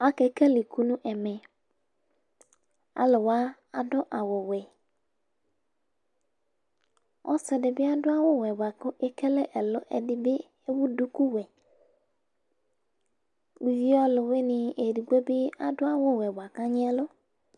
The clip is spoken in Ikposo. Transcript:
ake kele iku nu ɛmɛ, aluwa adu awu wɛ, ɔsi di bi adu awu wɛ bʋa ku ekele ɛlɔ, ɛdi bi ewu duku wɛ uvi ɔlu wini edigbo di bi adu awu wɛ bʋa ku agni ɛlu